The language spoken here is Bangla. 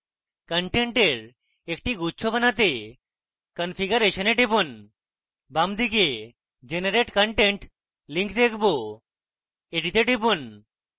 content একটি গুচ্ছ বানাতে configuration we টিপুন বামদিকে generate content link দেখব এটিতে টিপুন